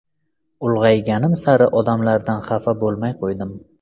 Ulg‘ayganim sari odamlardan xafa bo‘lmay qo‘ydim.